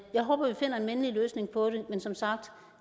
jeg håber vi finder en mindelig løsning på det men som sagt